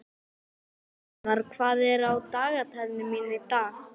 Bjarnar, hvað er á dagatalinu mínu í dag?